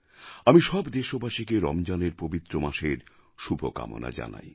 আমি সব দেশবাসীকে রমজানের পবিত্র মাসের শুভকামনা জানাই